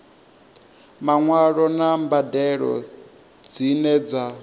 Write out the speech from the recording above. maṅwalo na mbadelo dzine dza